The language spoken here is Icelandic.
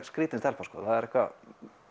skrítin stelpa sko það er eitthvað